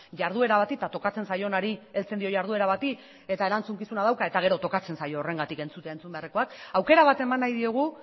jarduera bat eta tokatzen zaionari heltzen dio jarduera bati eta erantzukizuna dauka eta gero tokatzen zaio horregatik entzutea entzun beharrekoak aukera bat eman nahi diogu